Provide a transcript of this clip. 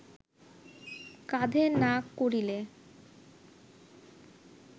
কাঁধে না করিলে